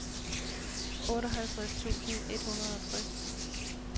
otteoghalvtreds tusind et hundrede og tres